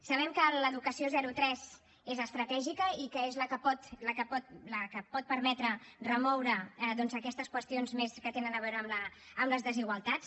sabem que l’educació zero tres és estratègica i que és la que pot la que pot permetre remoure doncs aquestes qüestions més que tenen a veure amb les desigualtats